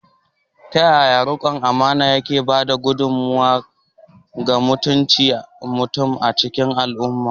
Ta yaya riƙon amana ke ba da gudummawa ga mutuncin mutum a cikin al’umma?